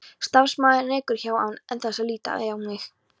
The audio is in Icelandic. Starfsmaðurinn ekur hjá án þess að líta á mig.